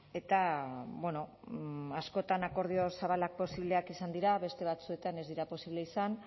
eta bueno askotan akordio zabalak posibleak izan dira beste batzuetan ez dira posible izan